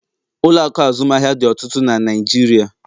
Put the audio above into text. ụlọ akụ azụmaahịa dị ọtụtụ na Naijiria